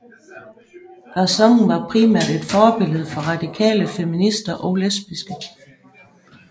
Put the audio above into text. Garçonnen var primært et forbillede for radikale feminister og lesbiske